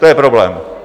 To je problém.